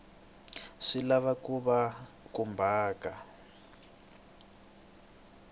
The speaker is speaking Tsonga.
ta lava swi va khumbhaka